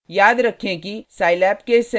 याद रखें कि scilab केस सेंसिटिव है